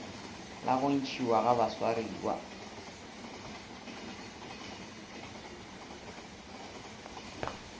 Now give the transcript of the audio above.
la go ntšhiwa ga baswariwa